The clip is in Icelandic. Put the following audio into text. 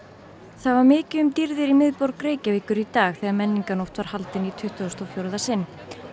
það var mikið um dýrðir í miðborg Reykjavíkur í dag þegar menningarnótt var haldin í tuttugasta og fjórða sinn